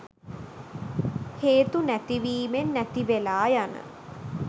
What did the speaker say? හේතු නැතිවීමෙන් නැතිවෙලා යන